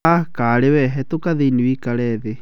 Ah, karĩ we! hetoka thiĩnĩ woikare thĩ.